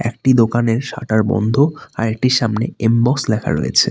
একটি দোকানের শাটার বন্ধ আরেকটির সামনে এমবস লেখা রয়েছে।